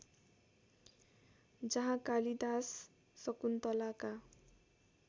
जहाँ कालिदास शकुन्तलाका